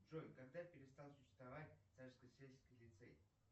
джой когда перестал существовать царскосельский лицей